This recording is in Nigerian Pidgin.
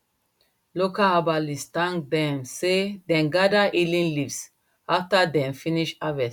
local herbalist thank dem say dem gather healing leaves after dem finish harvest